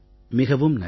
மிகவும் நன்றி